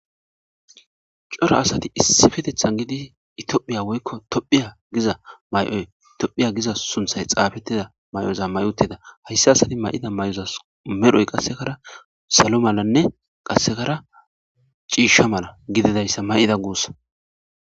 cora asati issi fetethan gidi itohphiya woykko tophiya giza may7oy tophiya giza sunthay xaabetida may7oza may7otida hayssa asadi may7ida may7ozas medhoy qassekara salo malanne qassekara ciishsha mala gididayssa may7ida guussa